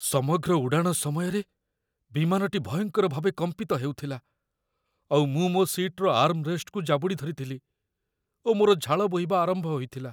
ସମଗ୍ର ଉଡ଼ାଣ ସମୟରେ ବିମାନଟି ଭୟଙ୍କର ଭାବେ କମ୍ପିତ ହେଉଥିଲା, ଆଉ ମୁଁ ମୋ ସିଟ୍‌ର ଆର୍ମ୍ ରେଷ୍ଟକୁ ଜାବୁଡ଼ି ଧରିଥିଲି ଓ ମୋର ଝାଳ ବୋହିବା ଆରମ୍ଭ ହୋଇଥିଲା।